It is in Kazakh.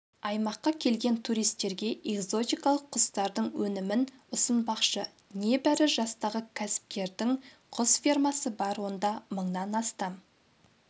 аймаққа келген туристерге экзотикалық құстардың өнімін ұсынбақшы небәрі жастағы кәсіпкердің құс фермасы бар онда мыңнан астам